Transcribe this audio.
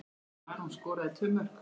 Aron skoraði tvö mörk.